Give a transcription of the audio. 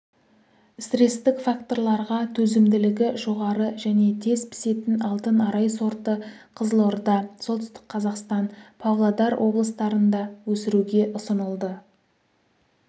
стресстік факторларға төзімділігі жоғары және тез пісетін алтын арай сорты қызылорда солтүстік қазақстан павлодар облыстарында өсіруге ұсынылды